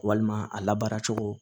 Walima a labaara cogo